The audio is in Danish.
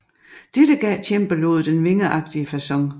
Dette giver cembaloet den vingeagtige facon